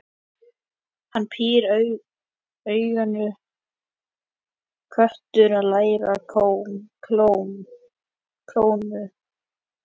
Hann pírir augun, köttur að læða klónum.